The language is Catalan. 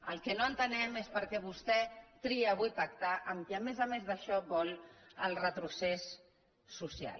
el que no entenem és perquè vostè tria avui pactar amb qui a més a més d’això vol el retrocés social